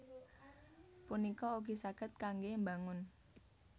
punika ugi saged kanggé mbangun